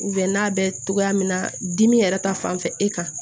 n'a bɛ togoya min na dimi yɛrɛ ta fanfɛ e kan